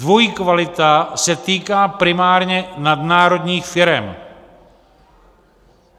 Dvojí kvalita se týká primárně nadnárodních firem!